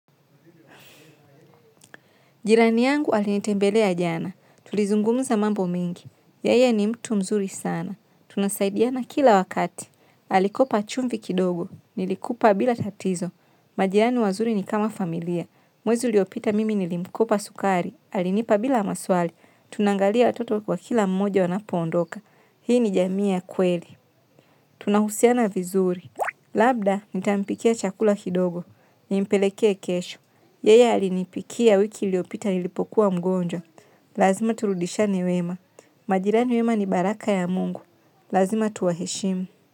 Jirani yangu alinitembelea jana. Tulizungumza mambo mengi. Yeye ni mtu mzuri sana. Tunasaidiana kila wakati. Alikopa chumvi kidogo. Nilikupa bila tatizo. Majirani wazuri ni kama familia. Mwezi uliopita mimi nilimkopa sukari. Alinipa bila maswali. Tunangalia watoto kwa kila mmoja wanapo ondoka. Hii ni jamii ya kweli. Tunahusiana vizuri. Labda nitampikia chakula kidogo. Nimpelekee kesho. Yeye alinipikia wiki iliyopita nilipokuwa mgonjwa. Lazima turudishiane wema. Majirani wema ni baraka ya Mungu. Lazima tuwaheshimu.